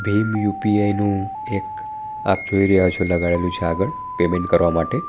ભીમ યુ_પી_આઈનું એક જોઈ રહ્યા છો આપ લગાડેલું છે આગળ પેમેન્ટ કરવા માટે.